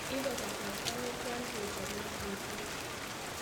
ipe kasarta netian kechob ng'otutiet